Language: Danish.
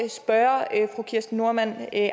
så kirsten normann